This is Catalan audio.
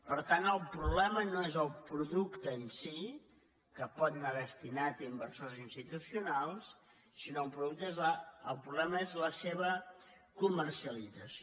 per tant el problema no és el producte en si que pot anar desti·nat a inversors institucionals sinó que el problema és la seva comercialització